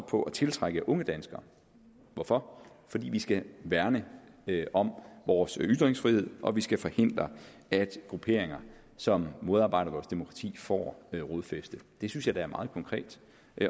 på at tiltrække unge danskere hvorfor fordi vi skal værne om vores ytringsfrihed og vi skal forhindre at grupperinger som modarbejder vores demokrati får rodfæste det synes jeg da er meget konkret